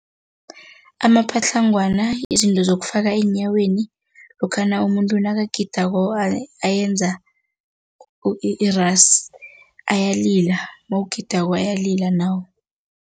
Amapatlangwana izinto zokufika eenyaweni lokhana umuntu nakagidako ayenza irasi, ayalila, nawugidako, ayalila nawo.